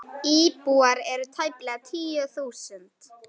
Íbúar eru tæplega tíu þúsund.